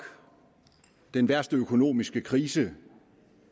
den værste økonomiske krise